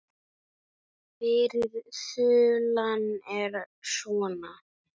Fyrri þulan er svona